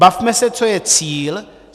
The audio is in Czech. Bavme se, co je cíl.